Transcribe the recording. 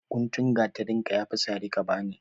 Guntun gatarinka ya fi sari ka bani.